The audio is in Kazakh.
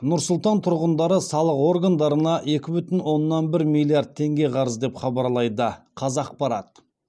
нұр сұлтан тұрғындары салық органдарына екі бүтін оннан бір миллиард теңге қарыз деп хабарлайды қазақпарат